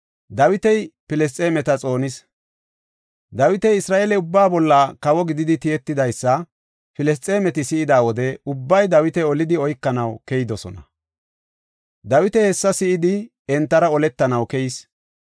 Dawiti Isra7eele ubbaa bolla kawo gididi tiyetidaysa Filisxeemeti si7ida wode ubbay Dawita olidi oykanaw keyidosona. Dawiti hessa si7idi entara oletanaw keyis.